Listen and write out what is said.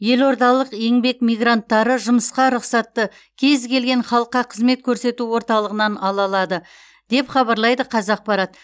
елордалық еңбек мигранттары жұмысқа рұқсатты кез келген халыққа қызмет көрсету орталығынан ала алады деп хабарлайды қазақпарат